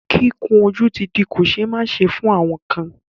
Kíkun ojú ti di kò ṣẹ́ máṣe fún àwọn kan.